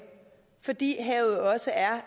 fordi havet også er